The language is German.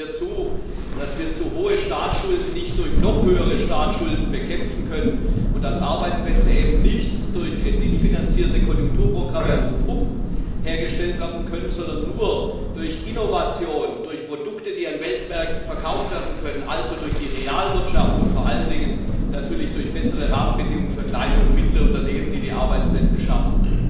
Stimmen Sie mir zu, dass wir zu hohe Staatsschulden nicht durch noch höhere Staatsschulden bekämpfen können und dass Arbeitsplätze eben nicht durch kreditfinanzierte Konjunkturprogramme auf Pump hergestellt werden können, sondern nur durch Innovation, durch Produkte, die an Weltmärkten verkauft werden können, also durch die Realwirtschaft, und vor allen Dingen natürlich durch bessere Rahmenbedingungen für kleine und mittlere Unternehmen, die die Arbeitsplätze schaffen?